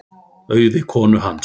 Auði konu hans.